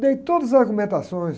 Dei todas as argumentações.